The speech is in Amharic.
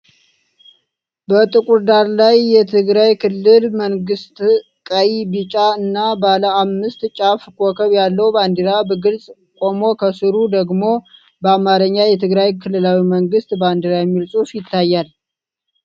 በጥቁር ዳራ ላይ፣ የትግራይ ክልላዊ መንግሥት ቀይ፣ ቢጫ እና ባለ አምስት ጫፍ ኮከብ ያለው ባንዲራ በግልጽ ቆሞ ከሥሩ ደግሞ በአማርኛ "የትግራይ ክልላዊ መንግስት ባንዲራ" የሚል ጽሑፍ ይታያል።